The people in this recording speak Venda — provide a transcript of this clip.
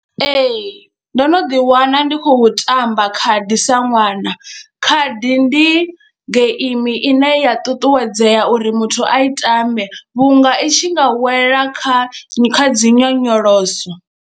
Ee, ndo no ḓiwana ndi khou tamba khadi sa ṅwana, khadi ndi geimi ine ya ṱuṱuwedzea uri muthu a i tame vhunga i tshi nga wela kha kha dzi nyonyoloso.